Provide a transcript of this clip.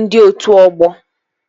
ndị otu ọgbọ